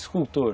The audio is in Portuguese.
Escultor.